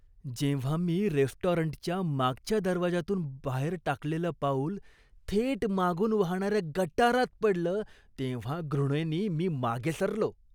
जेव्हा मी रेस्टॉरंटच्या मागच्या दरवाजातून बाहेर टाकलेलं पाऊल थेट मागून वाहणाऱ्या गटारात पडलं तेव्हा घृणेनी मी मागे सरलो.